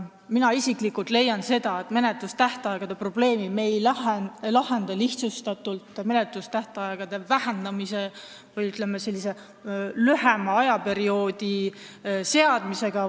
Mina isiklikult leian, et menetlustähtaegade probleemi me ei saa lahendada lihtsustatult, menetlustähtaegade lühendamise või, ütleme, lühema ajaperioodi määramisega.